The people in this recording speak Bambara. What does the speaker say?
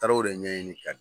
Taara o de ɲɛɲini kan